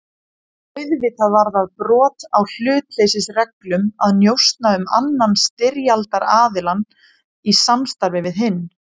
Auðvitað var það brot á hlutleysisreglum að njósna um annan styrjaldaraðiljann í samstarfi við hinn.